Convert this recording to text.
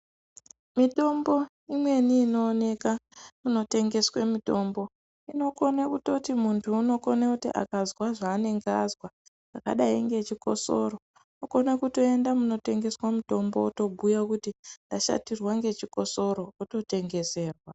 Mitombo imweni inooneka kunotengeswa mitombo inokone kutoti muntu unokone kuti akazwa zvaanenge azwa zvakadai ngechikosoro unokona kutoenda munotengeswa mutombo otobhuya kuti ndashatirwa ngechikosoro ototengeserwa.